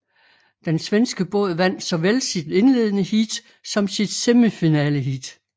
Den svenske båd vandt såvel sit indledende heat som sit semifinaleheat